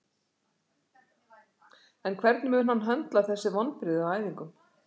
En hvernig mun hann höndla þessi vonbrigði á æfingum?